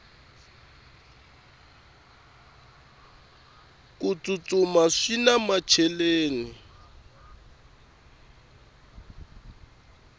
ku tsutsuma swina macheleni